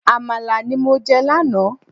Àmàlà ní mọ je lánàá